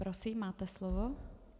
Prosím, máte slovo.